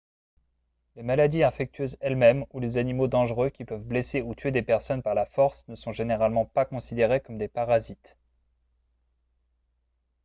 les maladies infectieuses elles-mêmes ou les animaux dangereux qui peuvent blesser ou tuer des personnes par la force ne sont généralement pas considérés comme des parasites